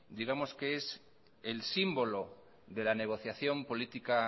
digamos que es el símbolo de la negociación política